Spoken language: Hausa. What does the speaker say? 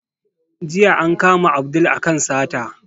Jiya an kama Abdul a kan sata